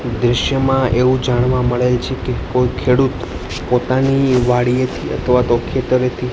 દૃશ્યમાં એવું જાણવા મળે છે કે કોઈ ખેડૂત પોતાની વાડીએ થી અથવા તો ખેતરે થી--